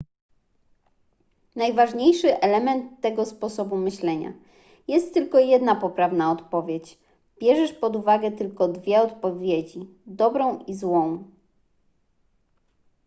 najważniejszy element tego sposobu myślenia jest tylko jedna poprawna odpowiedź bierzesz pod uwagę tylko dwie odpowiedzi dobrą i złą